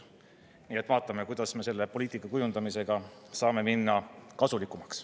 Nii et vaatame, kuidas me selle poliitika kujundamisega saame minna kasulikumaks.